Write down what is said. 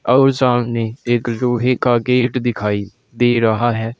और सामने एक लोहे का गेट दिखाई दे रहा है।